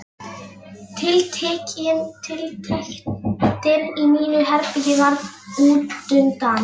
Tiltektin í mínu herbergi varð útundan.